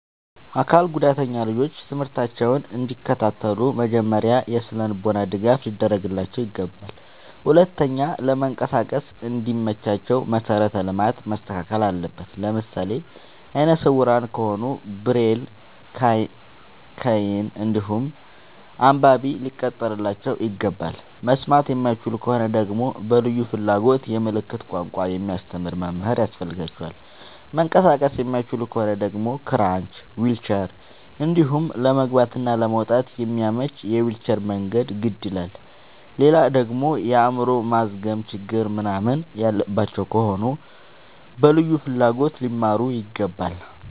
አካል ጉዳተኛ ልጆች ትምህርታቸውን እንዲ ከታተሉ መጀመሪያ የስነልቦና ድገፍ ሊደረግላቸው ይገባል። ሁለተኛ ለመንቀሳቀስ እንዲ መቻቸው መሰረተ ልማት መስተካከል አለበት። ለምሳሌ አይነስውራ ከሆኑ ብሬል ከይን እንዲሁም አንባቢ ሊቀጠርላቸው ይገባል። መስማት የማይችሉ ከሆኑ ደግመሞ በልዩ ፍላጎት የምልክት ቋንቋ የሚያስተምር መምህር ያስፈልጋቸዋል። መንቀሳቀስ የማይችሉ ከሆኑ ደግሞ ክራች ዊልቸር እንዲሁም ለመግባት እና ለመውጣት የሚያመች የዊልቸር መንገድ ግድ ይላላል። ሌላደግሞ የአይምሮ ማዝገም ችግር ምንናምን ያለባቸው ከሆኑ በልዩ ፍላጎት ሊማሩ ይገባል።